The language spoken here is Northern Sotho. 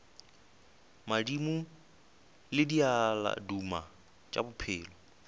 madimo le diaduma tša bophelo